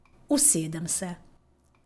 Usedem se.